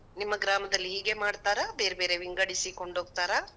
ನಿಮ್ಮ ಗ್ರಾಮದಲ್ಲಿ ಹೀಗೆ ಮಾಡ್ತಾರಾ? ಬೇರ್ಬೇರೆ ವಿಂಗಡಿಸಿಕೊಂಡ್ ಹೋಗ್ತರಾ?